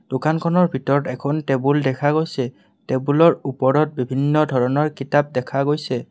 দোকানখনৰ ভিতৰত এখন টেবুল দেখা গৈছে টেবুলৰ ওপৰত বিভিন্ন ধৰণৰ কিতাপ দেখা গৈছে।